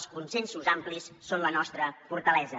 els consensos amplis són la nostra fortalesa